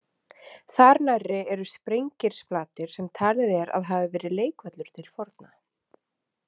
Þar nærri eru Sprengirsflatir sem talið er að hafi verið leikvöllur til forna.